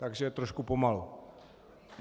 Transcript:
Takže trošku pomalu.